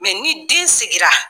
ni den sigira